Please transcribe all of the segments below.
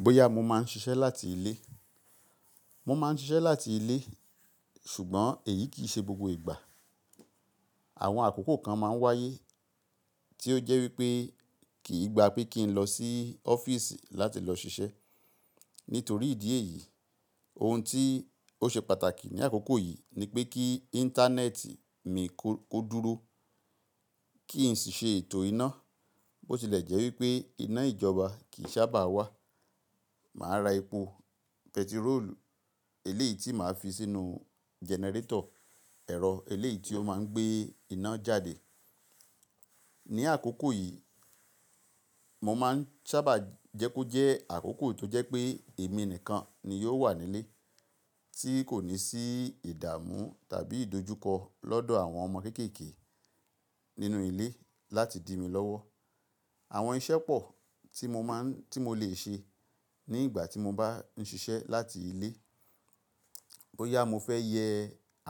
Bóyá mo máa ń ṣiṣẹ́ láti ilé. Mo máa ń ṣiṣẹ́ láti ilé ṣùgbọ́n èyí kì í ṣe gbogbo ìgbà. Àwọn àkókò kan máa ń wáyé tí ó jẹ́ wípé kì í gba pé kí n lọ sí ọ́fíìsì láti lọ ṣiṣẹ́. Nítorí ìdí èyí, ohun tí ó ṣe pàtàkì ní àkókò yìí ni pé kí Íńtánẹ́ẹ̀tì mi kó dúró, kí n sì ṣe ètò iná. Bó tilẹ̀ jẹ́ wípé iná ìjọba kì í sábà wà, màá ra epo pẹtiroolu eléyìí tí màá fi sínú jẹnẹrétọ̀, ẹ̀rọ eléyìí tí ó máa ń gbé iná jáde. Ní àkókò yìí, mo máa ń sábà jẹ́ kó jẹ́ àkókò tó jẹ́ pé èmi nìkan ni yóò wà nílé tí kò ní sí ìdààmú tàbí ìdojúkọ lọ́dọ̀ àwọn ọmọ kéékèèké nínú ilé láti di mi lọ́wọ́. Àwọn iṣẹ́ pọ̀ tí mo lè ṣe ní ìgbà tí mo bá ń ṣiṣẹ́ láti ilé. Bóyá mo fẹ́ yẹ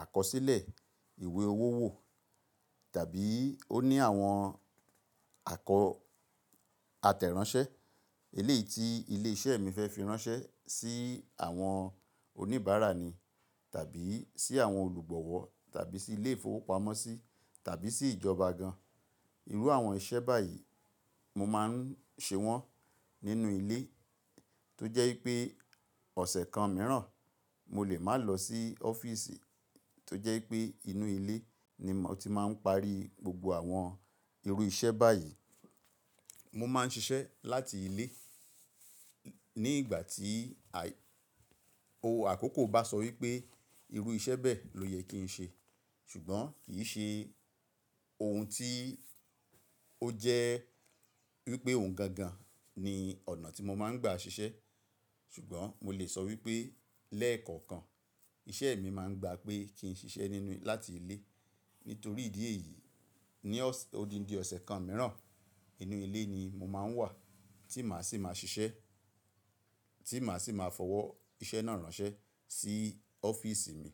àkọsílẹ̀ ìwé owó wò tàbí ó ní àwọn àkọ atẹ ìránṣẹ́ eléyìí tí ilé iṣẹ́ mi fẹ́ fi ránṣẹ́ sí àwọn oníbàárà ni tàbí sí àwọn olùgbọ̀wọ̀ tàbí sí ilé ìfowópamọ́sí tàbí sí ìjọba gan-an. Irú àwọn iṣẹ́ báyìí mo máa ń ṣe wọ́n nínú ilé tó jẹ́ wípé ọ̀sẹ̀ kan mìíràn mo lè máa lọ sí ọ́fíìsì tó jẹ́ wípé inú ilé ni mo ti máa ń parí gbogbo àwọn irú iṣẹ́ báyìí. Mo máa ń ṣiṣẹ́ láti ilé ní ìgbà tí ohun àkókò bá sọ wípé irú iṣẹ́ bẹ́ẹ̀ ló yẹ kí n ṣe. Ṣùgbọ́n kì í ṣe ohun tí ó jẹ́ wípé òun gangan ni ọ̀nà tí mo máa ń gba ṣiṣẹ́. Ṣùgbọ́n mo lè sọ wípé lẹ́ẹ̀kọ̀ọ̀kan iṣẹ́ mi máa ń gba pé kí n ṣiṣẹ́ nínú láti ilé. Nítorí ìdí èyí, ní odindi ọ̀sẹ̀ kan mìíràn inú ilé ni mo máa ń wà tí màá sì máa ṣiṣẹ́, tí màá sì máa fọwọ́ iṣẹ́ náà ránṣẹ́ sí ọ́fíìsì mi.